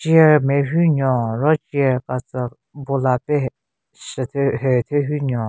Chair nme hyu nyon ro chair ka tsü bola pe hu shye thyu hu thyu hyu nyon.